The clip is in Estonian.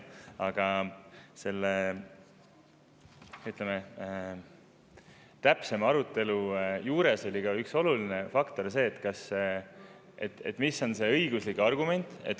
Aga täpsemalt, selle arutelu juures oli ka üks oluline faktor see, et mis on see õiguslik argument.